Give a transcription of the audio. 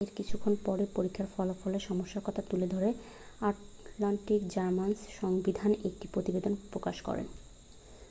এর কিছুক্ষণ পরেই পরীক্ষা ফলাফলে সমস্যার কথা তুলে ধরে আটলান্টা-জার্নাল সংবিধান একটি প্রতিবেদন প্রকাশ করে